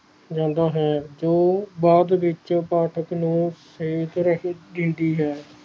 ਰਹਿੰਦਾ ਹੈ ਜੋ ਬਾਅਦ ਵਿਚ ਪਾਠਕ ਨੂੰ ਸਹੀ ਸੀਖ ਦਿੰਦੀ ਹੈ